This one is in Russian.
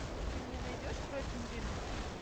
ты мне найдешь кровь невинных